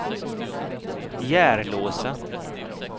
Järlåsa